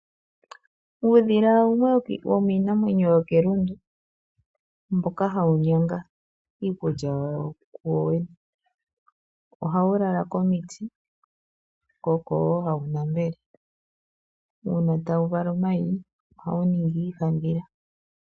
Uudhila wumwe womiinamwenyo yokelundu mboka hawu onyanga iikulya yawo kuwowene. Ohawu lala komiti ko oko wo hawu nambele. Uuna tawu vala omayi ohawu ningi iihandhila.